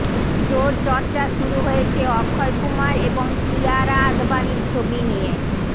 জোর চর্চা শুরু হয়েছে অক্ষয় কুমার এবং কিয়ারা আদবানির ছবি নিয়ে